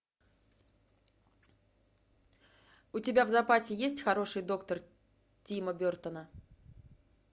у тебя в запасе есть хороший доктор тима бертона